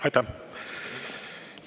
Aitäh!